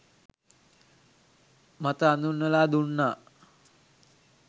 මත අඳුන්වලා දුන්නා